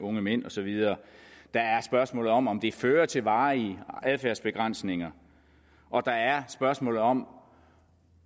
unge mænd og så videre der er spørgsmålet om om det fører til varige adfærdsbegrænsninger og der er spørgsmålet om